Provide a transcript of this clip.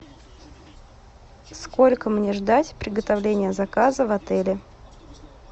сколько мне ждать приготовление заказа в отеле